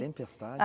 Tempestade?